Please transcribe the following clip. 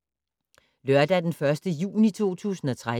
Lørdag d. 1. juni 2013